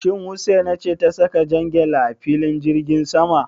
Shin Husaina ce ta saka jan gyale a filin jirgin sama?